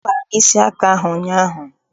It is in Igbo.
Akpara m isi aka ahụ ụnyaahụ.